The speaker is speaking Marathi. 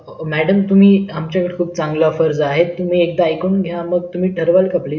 madam तुम्ही आमच्याकडे खुप चांगले offers आहेत तुम्ही एकदा ऐकून घ्या मग ठरवलं का तुम्ही please